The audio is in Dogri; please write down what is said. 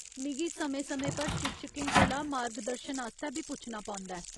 मिगी समें समें पर शिक्षकें कोला मार्गदर्शन आस्तै बी पुच्छना पौंदा ऐ।